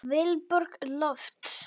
Vilborg Lofts.